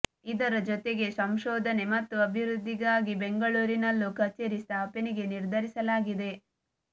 ಇದರ ಜೊತೆಗೆ ಸಂಶೋಧನೆ ಮತ್ತು ಅಭಿವೃದ್ಧಿಗಾಗಿ ಬೆಂಗಳೂರಿನಲ್ಲೂ ಕಚೇರಿ ಸ್ಥಾಪನೆಗೆ ನಿರ್ಧರಿಸಲಾಗಿದೆ